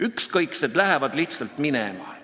Ükskõiksed lähevad lihtsalt minema.